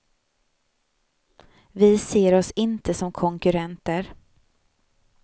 Vi ser oss inte som konkurrenter.